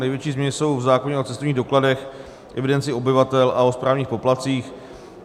Největší změny jsou v zákoně o cestovních dokladech, evidenci obyvatel a o správních poplatcích.